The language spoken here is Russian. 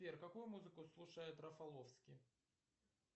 сбер какую музыку слушает рафаловский